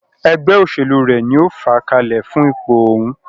Ẹgbẹ́ òṣèlú rẹ̀ ní o fàá kalẹ̀ fún ipò òhún.